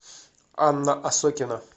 анна осокина